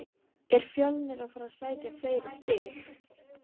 Er Fjölnir að fara að sækja fleiri stig?